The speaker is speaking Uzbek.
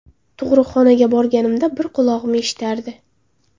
Tug‘uruqxonaga borganimda bir qulog‘im eshitardi.